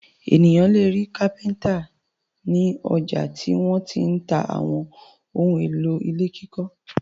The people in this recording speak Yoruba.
Ènìyàn le rí kápẹ́ńtà ní ọjà tí wọ́n ti ń ta àwọn ohun-èlò ilé kíkọ́.